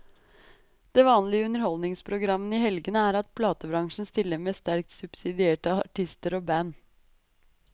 Det vanlige i underholdningsprogrammene i helgene er at platebransjen stiller med sterkt subsidierte artister og band.